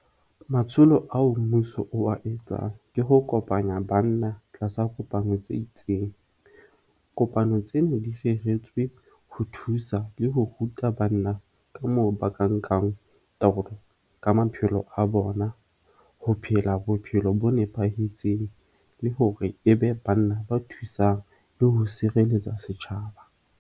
Matsholo ao mmuso wa etsang ke ho kopanya banna tlasa kopano tse itseng. Kopano tseno di reretswe ho thusa le ho ruta banna ka moo ba ka nkang taolo ka maphelo a bona, ho phela bophelo bo nepahetseng, le hore e be banna ba thusang le ho sirelletsa setjhaba.